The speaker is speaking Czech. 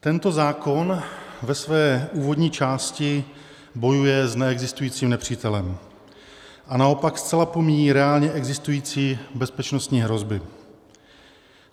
Tento zákon ve své úvodní části bojuje s neexistujícím nepřítelem a naopak zcela pomíjí reálně existující bezpečnostní hrozby.